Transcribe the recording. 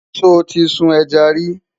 sọ tí sùn ejá rí?